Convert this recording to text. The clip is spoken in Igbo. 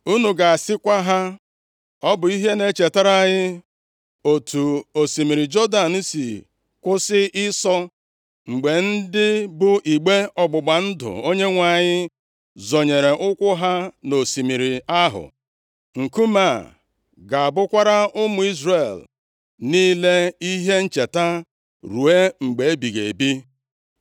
Unu ga-asịkwa ha, ‘Ọ bụ ihe na-echetara anyị otu osimiri Jọdan si kwụsị ịsọ, mgbe ndị bụ igbe ọgbụgba ndụ Onyenwe anyị zọnyere ụkwụ ha nʼosimiri ahụ.’ Nkume a ga-abụkwara ụmụ Izrel niile ihe ncheta ruo mgbe ebighị ebi.”